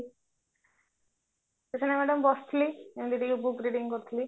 କିଛି ନାହି madam ବସିଥିଲି ଏମିତି ଟିକେ book reading କରୁଥିଲି